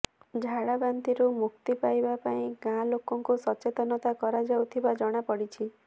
ଝାଡ଼ାବାନ୍ତିରୁ ମୁକ୍ତି ପାଇବା ପାଇଁ ଗାଁ ଲୋକଙ୍କୁ ସଚେତନତା କରାଯାଉଥିବା ଜଣାପଡ଼ିଛି